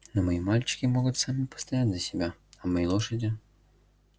но мои мальчики могут сами постоять за себя а мои лошади